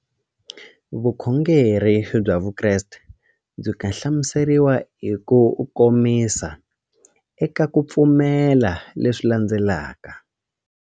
Vukhongeri bya Vukreste byi nga hlamuseriwa hi kukomisa eka ku pfumela leswi landzelaka.